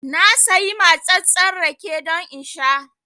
Na sayi matsattsen rake don in sha